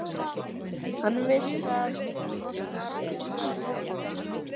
Hann vissi að það var búið að loka